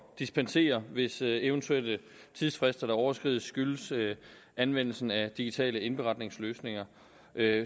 dispensere hvis det at eventuelle tidsfrister overskrides skyldes anvendelsen af digitale indberetningsløsninger